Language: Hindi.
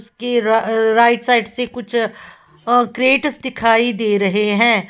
के राइट साइड से कुछ क्रेटस दिखाई दे रहे हैं।